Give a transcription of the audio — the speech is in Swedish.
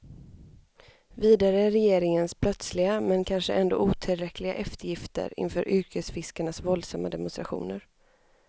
Vidare regeringens plötsliga, men kanske ändå otillräckliga eftergifter inför yrkesfiskarnas våldsamma demonstrationer.